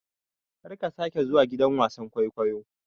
Karka sake zuwa gidan wasan-kwaikwayo.